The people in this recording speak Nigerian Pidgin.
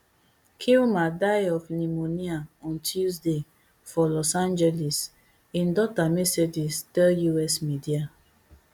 kilmer die of pneumonia on tuesday for los angeles im daughter mercedes tell us media